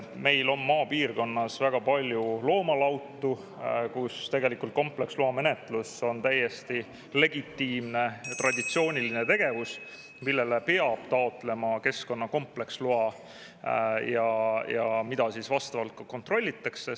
Meil on maapiirkonnas väga palju loomalautu, kus tegelikult kompleksloa menetlus on täiesti legitiimne, traditsiooniline tegevus, millele peab taotlema keskkonna kompleksloa ja mida siis vastavalt ka kontrollitakse.